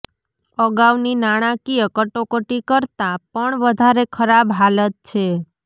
અગાઉની નાણાકીય કટોકટી કરતાં પણ વધારે ખરાબ હાલત છે